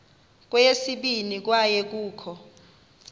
kweyesibini kwaye kukho